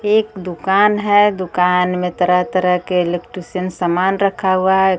ये एक दुकान है दुकान में तरह तरह के इलेक्ट्रीशियन सामान रखा हुआ है।